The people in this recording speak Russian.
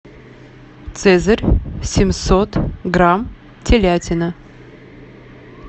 цезарь семьсот грамм телятина